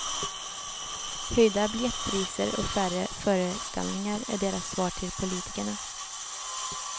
Höjda biljettpriser och färre föreställningar är deras svar till politikerna.